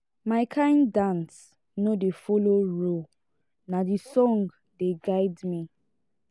my kain dance no dey folo rule na di song dey guide me.